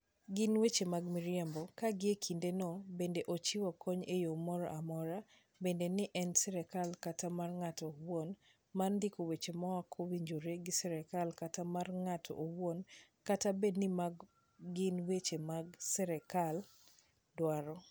Gin weche mag miriambo, ka gie kindeno bende ochiwo kony e yo moro amora, bed ni en mar sirkal kata mar ng'ato owuon, mar ndiko weche maok owinjore gi sirkal kata mar ng'ato owuon, kata bed ni mago gin weche ma sirkal dwaro.